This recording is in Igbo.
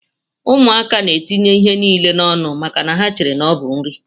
Ụmụaka na etinye ihe nile na ọnụ maka na ha chere na ọbu nri.